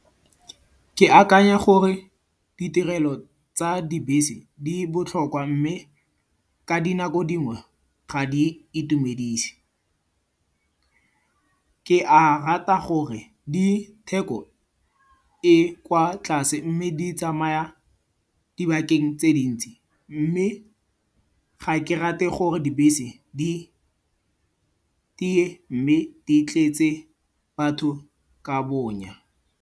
Ke akanya gore ditirelo tsa dibese di botlhokwa mme ka dinako dingwe, ga di itumedise. Ke a rata gore ditheko e kwa tlase mme di tsamaya dibakeng tse dintsi. Mme ga ke rate gore dibese di tiye mme di tletse batho ka bonya.